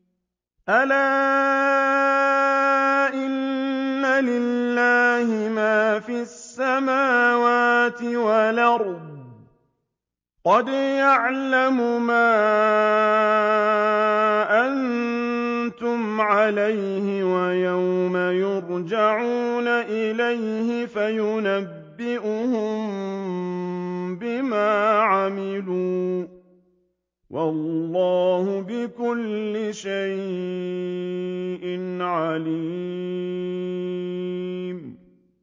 أَلَا إِنَّ لِلَّهِ مَا فِي السَّمَاوَاتِ وَالْأَرْضِ ۖ قَدْ يَعْلَمُ مَا أَنتُمْ عَلَيْهِ وَيَوْمَ يُرْجَعُونَ إِلَيْهِ فَيُنَبِّئُهُم بِمَا عَمِلُوا ۗ وَاللَّهُ بِكُلِّ شَيْءٍ عَلِيمٌ